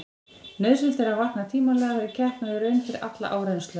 Nauðsynlegt er að vakna tímanlega fyrir keppni og í raun fyrir alla áreynslu.